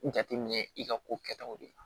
Jateminɛ i ka ko kɛtaw de la